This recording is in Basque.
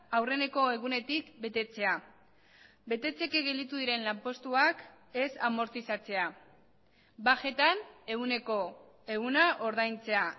aurreneko egunetik betetzea betetzeke gelditu diren lanpostuak ez amortizatzea bajetan ehuneko ehuna ordaintzea